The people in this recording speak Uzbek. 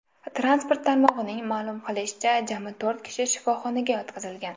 Transport tarmog‘ining ma’lum qilishicha, jami to‘rt kishi shifoxonaga yotqizilgan.